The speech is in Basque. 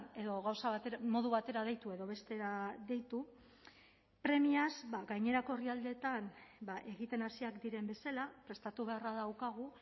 edo gauza bat modu batera deitu edo bestera deitu premiaz gainerako herrialdeetan egiten hasiak diren bezala prestatu beharra daukagu